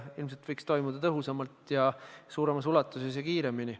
No ilmselt võiks toimuda tõhusamalt ja suuremas ulatuses ja kiiremini.